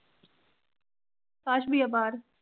ਆਕਾਸ ਭਈਆ ਬਾਹਰ।